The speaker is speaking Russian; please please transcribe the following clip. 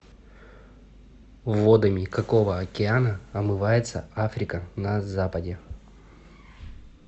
водами какого океана омывается африка на западе